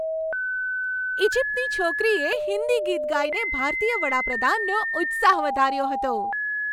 ઈજિપ્તની છોકરીએ હિન્દી ગીત ગાઈને ભારતીય વડાપ્રધાનનો ઉત્સાહ વધાર્યો હતો.